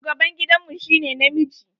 Shugaban gidan mu shi ne namiji.